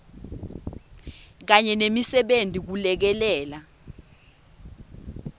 kanye nemisebenti kulekelela